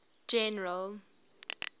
general